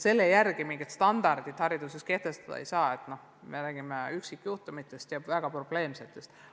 Selle järgi mingisuguseid standardeid hariduses kehtestada ei saa, me räägime üksikjuhtumitest, väga probleemsetest peredest.